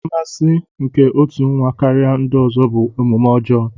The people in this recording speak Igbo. Mmasị nke otu nwa karịa ndị ọzọ bụ omume ọjọọ.